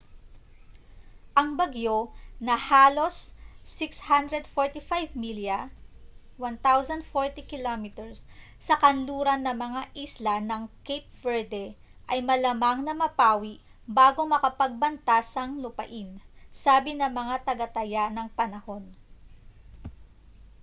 ang bagyo na nasa halos 645 milya 1040 km sa kanluran ng mga isla ng cape verde ay malamang na mapawi bago makapagbanta sang lupain sabi ng mga tagataya ng panahon